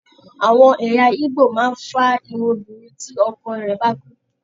Àwọn ẹ̀yà Igbo máa ń fá irun obiǹrin tí ọkọ rẹ̀ bá kú.